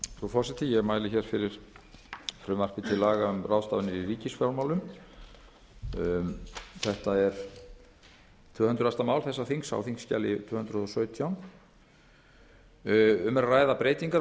ráðstafanir í ríkisfjármálum þetta er tvö hundruð mál þessa þings á þingskjali tvö hundruð og sautján um er að ræða breytingar á